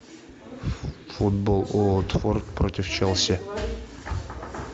футбол уотфорд против челси